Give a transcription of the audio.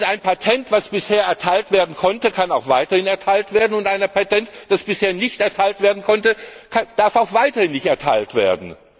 Ein Patent, das bisher erteilt werden konnte, kann auch weiterhin erteilt werden, und ein Patent, das bisher nicht erteilt werden konnte, darf auch weiterhin nicht erteilt werden.